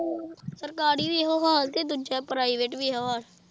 ਸਰਕਾਰੀ ਵੀ ਇਹੋ ਹਾਲ ਤੇ ਦੂਜਾ private ਵੀ ਇਹੋ ਹਾਲ